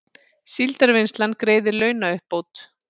Síldarvinnslan greiðir launauppbót